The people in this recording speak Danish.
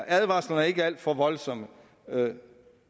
advarslerne ikke er alt for voldsomme men